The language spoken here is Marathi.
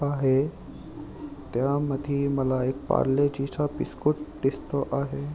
आहे त्यामधी मला एक पार्लेजी चा बिसकुट दिसतो आहे.